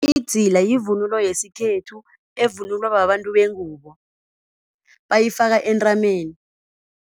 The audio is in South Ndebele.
Idzila yivunulo yesikhethu evunulwa babantu bengubo bayifaka entameni.